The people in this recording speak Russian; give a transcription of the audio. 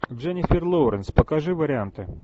дженифер лоуренс покажи варианты